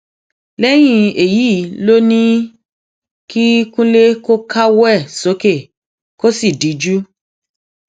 lẹyìn èyí ló ní kó kúnlẹ kó káwọ ẹ sókè kó sì díjú